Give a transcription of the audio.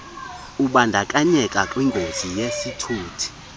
ubandakanyeka kwingozi yesithuthi